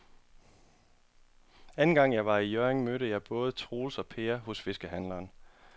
Anden gang jeg var i Hjørring, mødte jeg både Troels og Per hos fiskehandlerne.